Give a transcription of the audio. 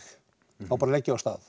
þá bara legg ég af stað